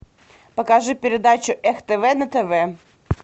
покажи передачу эх тв на тв